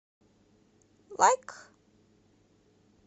лайк